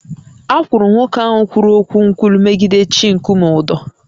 A kwụrụ nwoke ahụ kwuru okwu nkwulu megide chi nkume ụdọ